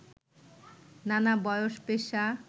নানা বয়স, পেশা